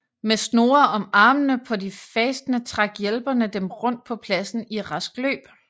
Med snore om armene på de fastende trak hjælperne dem rundt på pladsen i rask løb